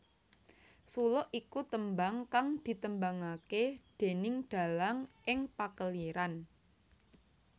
Suluk iku tembang kang ditembangake déning dalang ing pakeliran